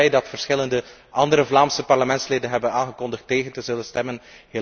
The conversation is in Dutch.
Ik ben ook blij dat verschillende andere Vlaamse parlementsleden hebben aangekondigd tegen te zullen stemmen.